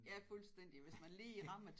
Ja fuldstændig hvis man lige rammer